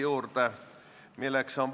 Vaatame neid lähemalt.